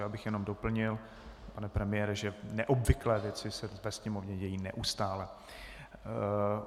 Já bych jenom doplnil, pane premiére, že neobvyklé věci se ve Sněmovně dějí neustále.